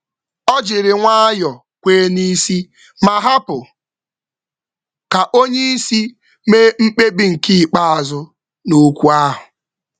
Ọ kwechara n’ụzọ nkwanye ùgwù ma kwe ka oga mee mkpebi ikpeazụ n’okwu ahụ.